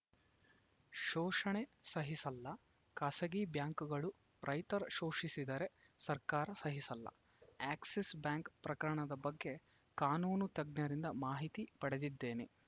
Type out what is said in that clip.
ಶೋಷಣೆ ಸಹಿಸಲ್ಲ ಖಾಸಗಿ ಬ್ಯಾಂಕುಗಳು ರೈತರ ಶೋಷಿಸಿದರೆ ಸರ್ಕಾರ ಸಹಿಸಲ್ಲ ಎಕ್ಸಿಸ್‌ ಬ್ಯಾಂಕ್‌ ಪ್ರಕರಣದ ಬಗ್ಗೆ ಕಾನೂನು ತಜ್ಞರಿಂದ ಮಾಹಿತಿ ಪಡೆದಿದ್ದೇನೆ